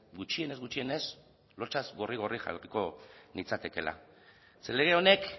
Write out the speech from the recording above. gutxienez gutxienez lotsaz gorri gorri jarriko nintzatekeela ze lege honek